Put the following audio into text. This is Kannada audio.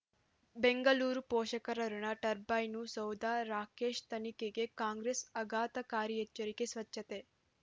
ಬೆಂಗಳೂರು ಪೋಷಕರಋಣ ಟರ್ಬೈನು ಸೌಧ ರಾಕೇಶ್ ತನಿಖೆಗೆ ಕಾಂಗ್ರೆಸ್ ಆಘಾತಕಾರಿ ಎಚ್ಚರಿಕೆ ಸ್ವಚ್ಛತೆ